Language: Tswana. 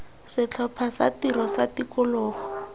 setlhopha sa tiro sa tikologo